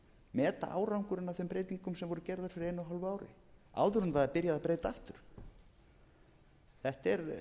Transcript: meta árangurinn af þeim breytingum sem voru gerðar fyrir einu og hálfu ári áður en það er byrjað að breyta aftur þetta er